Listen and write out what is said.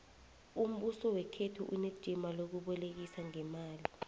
umbuso wekhethu unejima lokubolekisa ngeemali